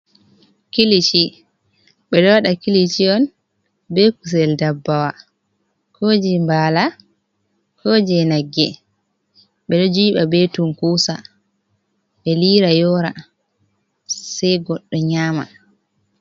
Kilishi, ɓeɗo waɗa kilishi on be kusel dabbawa ko je mbala ko je nagge ɓeɗo jiɓa be tunkusa ɓe lira yora, sei goɗɗo nyama.